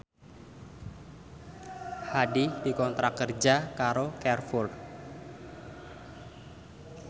Hadi dikontrak kerja karo Carrefour